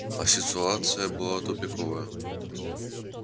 а ситуация была тупиковая